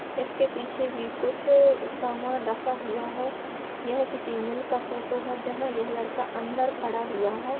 इसके पीछे भी कुछ सामान रखा हुआ है यह किसी मील का फोटो है जहां यह लड़का अन्दर खड़ा हुआ है|